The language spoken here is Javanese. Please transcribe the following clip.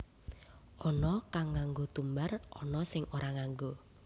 Ana kang nganggo tumbar ana sing ora nganggo